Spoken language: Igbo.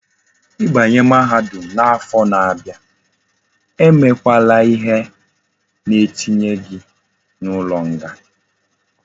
I banye mahadum na afo na abia,e me kwala ihe na etinye gi na ulo nga